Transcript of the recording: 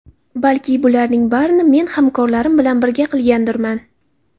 Balki bularning barini men hamkorlarim bilan birga qilgandirman?